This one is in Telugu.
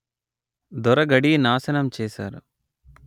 దొర గడీ నాశనం చేశారు